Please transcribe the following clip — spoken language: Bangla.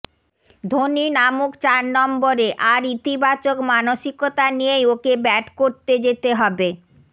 ধোনি নামুক চার নম্বরে আর ইতিবাচক মানসিকতা নিয়েই ওকে ব্যাট করতে যেতে হবে